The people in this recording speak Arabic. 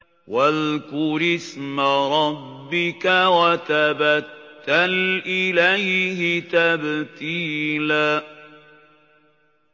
وَاذْكُرِ اسْمَ رَبِّكَ وَتَبَتَّلْ إِلَيْهِ تَبْتِيلًا